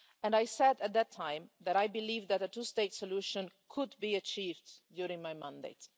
And I said at that time that I believe that a two-state solution could be achieved during my mandate.